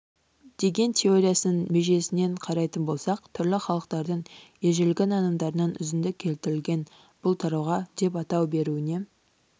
деген теориясының межесінен қарайтын болсақ түрлі халықтардың ежелгі нанымдарынан үзінді келтірілген бұл тарауға деп атау беруіне